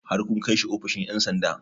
Har kun kai shi ofishin 'yan sanda?